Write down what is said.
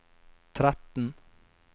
tretten